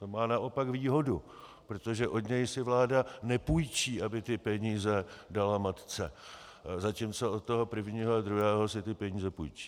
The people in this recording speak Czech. To má naopak výhodu, protože od něj si vláda nepůjčí, aby ty peníze dala matce, zatímco od toho prvního a druhého si ty peníze půjčí.